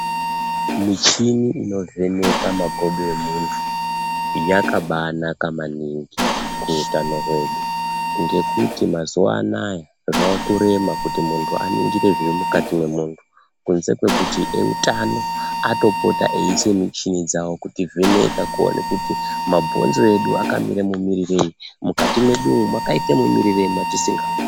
Michini inovheneke makodo emuntu yakabaanaka maningi muutano hwedu ngekuti mazuwa anaa zvakurema kuti muntu aningire zviri mukati mwemuntu kunze kwekuti eutano anopota eiise michini dzavo veitivheneka mabhozno edu akaite mumirirei, mukati mwedu umu mwakaite mumuirirei mwatisingaoni.